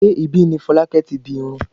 Ṣé ibi ní Folákẹ́ ti di irún?